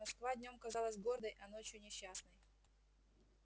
москва днём казалась гордой а ночью несчастной